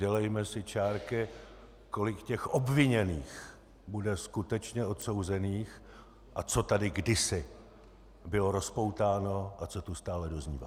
Dělejme si čárky, kolik těch obviněných bude skutečně odsouzených a co tady kdysi bylo rozpoutáno a co tu stále doznívá.